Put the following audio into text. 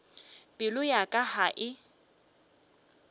pelo ya ka ga e